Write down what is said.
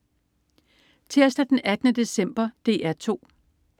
Tirsdag den 18. december - DR 2: